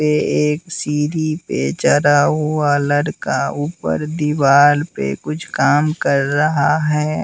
एक सीढ़ी पे चढ़ा हुआ लड़का ऊपर दीवाल पे कुछ काम कर रहा है।